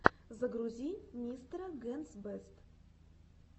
загрузи мистера генс бэст